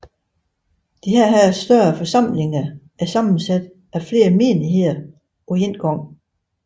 Disse større forsamlinger er sammensat af flere menigheder på én gang